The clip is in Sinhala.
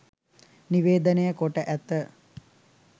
නිවේදනය කොට ඇත.